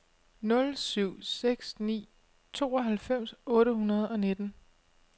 nul syv seks ni tooghalvfems otte hundrede og nitten